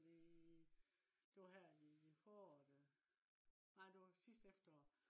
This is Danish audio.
fordi det var her i foråret øh. nej det var sidste efterår